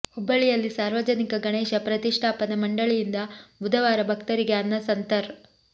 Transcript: ಹುಬ್ಬಳ್ಳಿಯಲ್ಲಿ ಸಾರ್ವಜನಿಕ ಗಣೇಶ ಪ್ರತಿಷ್ಠಾಪನಾ ಮಂಡಳಿಯಿಂದ ಬುಧವಾರ ಭಕ್ತರಿಗೆ ಅನ್ನ ಸಂತರ್